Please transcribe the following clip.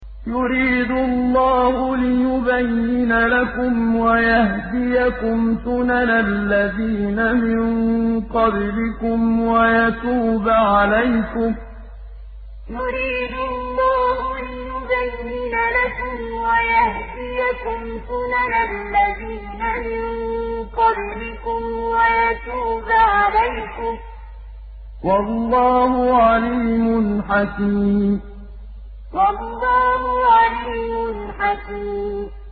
يُرِيدُ اللَّهُ لِيُبَيِّنَ لَكُمْ وَيَهْدِيَكُمْ سُنَنَ الَّذِينَ مِن قَبْلِكُمْ وَيَتُوبَ عَلَيْكُمْ ۗ وَاللَّهُ عَلِيمٌ حَكِيمٌ يُرِيدُ اللَّهُ لِيُبَيِّنَ لَكُمْ وَيَهْدِيَكُمْ سُنَنَ الَّذِينَ مِن قَبْلِكُمْ وَيَتُوبَ عَلَيْكُمْ ۗ وَاللَّهُ عَلِيمٌ حَكِيمٌ